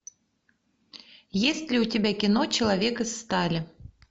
есть ли у тебя кино человек из стали